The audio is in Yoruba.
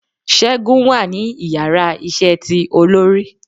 Según wa ni ìyára iṣẹ tí olorí